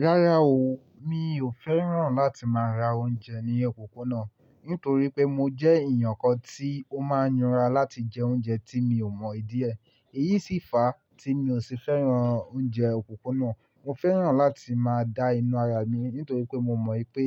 Rárá o, mi ò fẹ́ràn láti máa ra oúnjẹ ní òpópónà, nítorí pé mo jẹ́ èèyàn kan tí ó máa ń yára láti jẹ oúnjẹ tí mi ò mọ ìdí ẹ. Èyí sì fa tí mi ò ṣe fẹ́ràn oúnjẹ òpópónà. Mo fẹ́ràn láti máa da inú ara mi nítorí pé mo mọ̀ pé